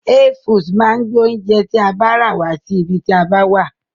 Hey foods máa gbé oúnjẹ tí a bá rà wá sí ibi tí a bá wà.